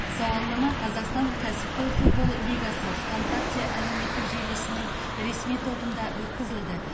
сауалнама қазақстан кәсіпқой футбол лигасы вконтакте әлеуметтік желісінің ресми тобында өткізілді